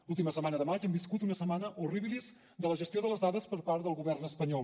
l’última setmana de maig hem viscut una setmana horribilis de la gestió de les dades per part del govern espanyol